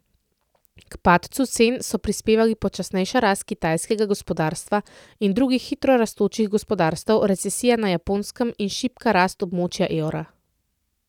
K padcu cen so prispevali počasnejša rast kitajskega gospodarstva in drugih hitro rastočih gospodarstev, recesija na Japonskem in šibka rast območja evra.